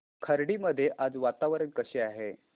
खर्डी मध्ये आज वातावरण कसे आहे